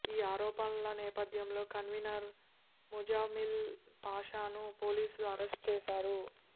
ఈ ఆరోపణల నేపథ్యంలో కన్వీనర్ ముజామిల్ పాషాను పోలీసులు అరెస్టు చేశారు